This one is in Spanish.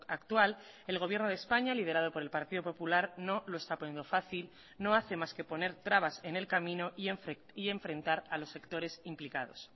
actual el gobierno de españa liderado por el partido popular no lo está poniendo fácil no hace más que poner trabas en el camino y enfrentar a los sectores implicados